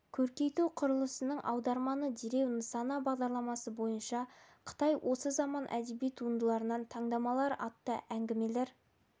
көркейту құрылысының аударманы демеу нысаны бағдарламасы бойынша қытай осы заман әдеби туындыларынан таңдамалылар атты әңгімелер